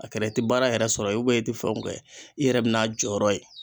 A kɛra i ti baara yɛrɛ sɔrɔ i tɛ fɛnw kɛ, i yɛrɛ bɛ n'a jɔyɔrɔ ye.